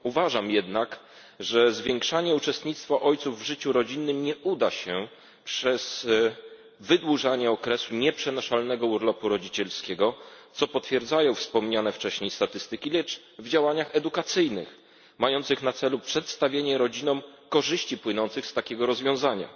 Uważam jednak, że zwiększanie uczestnictwa ojców w życiu rodzinnym nie uda się przez wydłużanie okresu nieprzenaszalnego urlopu rodzicielskiego, co potwierdzają wspomniane wcześniej statystyki, lecz przez działania edukacyjne mające na celu przedstawienie rodzinom korzyści, jakie płyną z takiego rozwiązania.